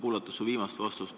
Kuulasin su viimast vastust.